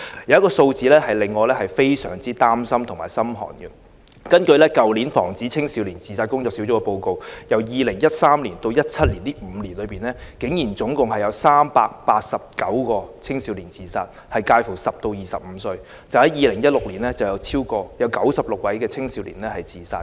有一些數字令人心寒，根據去年防止青少年自殺工作小組的報告，由2013年至2017年的5年內，竟然共有389個青少年自殺，年齡介乎10至25歲，單在2016年便有96個青少年自殺。